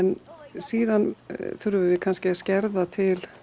síðan þurfum við kannski að skerða til